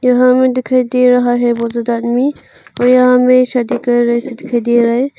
यहा हमे डीखाई दे रहा है बहु ज्यादा आदमी वे यहा मे शादी कर रहे से डीखाई डे रहा है।